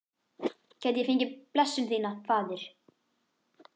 Gæti ég fengið blessun þína, faðir?